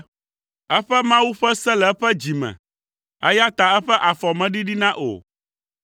Eƒe Mawu ƒe se le eƒe dzi me, eya ta eƒe afɔ meɖiɖina o.